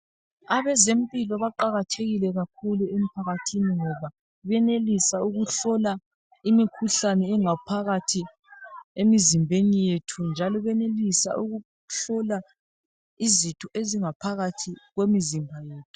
Abezempilo baqakathekile kakhulu emphakathithini ngoba benelisa ukuhlola imikhuhlane engaphakathi emzimbeni yethu njalo benelisa ukuhlola izitho ezingaphakathi komzimba